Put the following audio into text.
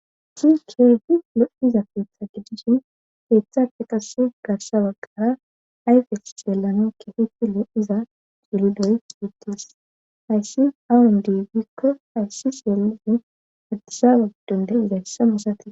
Chi kei lo'iza feetha gidishin feeththappe qasse garsha wagqara ayfes jeellano kefitile iza cuuludoy yuttis hayssi awun diigikko hayssi seelufin atisa wagiddonde izayssa musati.